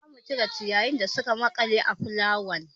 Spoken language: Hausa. Za mu cire ciyayin da suka maƙale a fulawan.